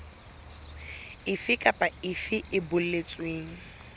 efe kapa efe e boletsweng